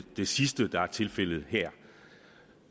det sidste der er tilfældet her